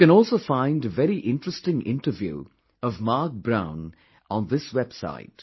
You can also find a very interesting interview of Marc Brown on this website